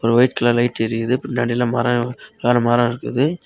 ஒரு white colour light எரியுது பின்னாடியில் மரோ மரம் இருக்குது.